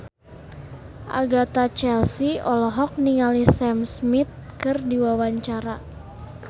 Agatha Chelsea olohok ningali Sam Smith keur diwawancara